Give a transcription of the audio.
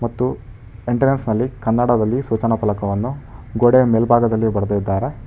ಮತ್ತು ಎಂಟ್ರನ್ಸ್ ನಲ್ಲಿ ಕನ್ನಡದಲ್ಲಿ ಸೂಚನ ಫಲವನ್ನು ಗೋಡೆಯ ಮೇಲ್ಭಾಗದಲ್ಲಿ ಬರೆದಿದ್ದಾರೆ.